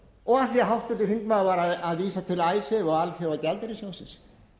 og af því að háttvirtur þingmaður var að vísa til icesave og alþjóðagjaldeyrissjóðsins